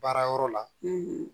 Baara yɔrɔ la